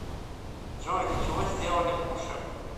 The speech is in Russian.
джой для чего сделали пуши